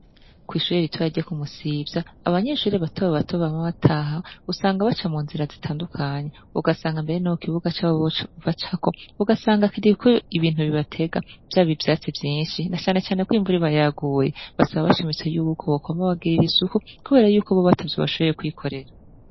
Kw'ishure ritoyi ryo ku Musivya abanyeshure batobato bama bataha usanga baca mu nzira zitandukanye, ugasanga mbere no ku kibuga cabo bacako ugasanga kiriko ibintu bibatega vyaba ivyatsi vyinshi, na canecane ko imvura iba yaguye. Basaba bashimitse yuko bokwama babagirira isuku kubera yuko bobo atavyo bashoboye kwikorera.